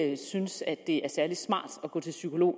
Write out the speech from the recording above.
ikke synes at det er særlig smart at gå til psykolog